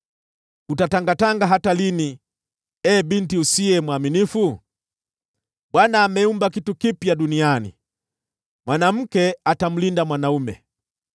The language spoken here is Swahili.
Utatangatanga hata lini, ee binti usiye mwaminifu? Bwana ameumba kitu kipya duniani: mwanamke atamlinda mwanaume.”